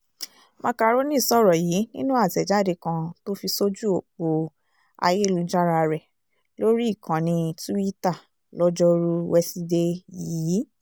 màkàrónì sọ̀rọ̀ yìí nínú àtẹ̀jáde kan tó fi sójú ọ̀pọ̀ ayélujára rẹ̀ lórí ìkànnì túìta lojoruu wesidee yìí